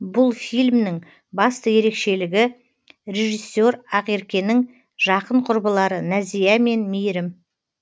бұл фильмнің басты ерекшелігі режиссер ақеркенің жақын құрбылары нәзия мен мейірім